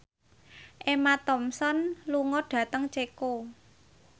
Emma Thompson lunga dhateng Ceko